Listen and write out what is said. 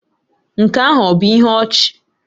Nke ahụ ọ̀ bụ ihe ọchị?